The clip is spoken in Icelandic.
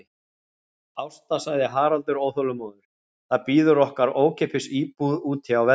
Ásta, sagði Haraldur óþolinmóður, það bíður okkar ókeypis íbúð úti á Velli.